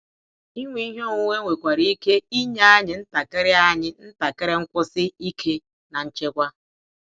Inwe ihe onwunwe nwekwara ike inye anyị ntakịrị anyị ntakịrị nkwụsi ike na nchekwa.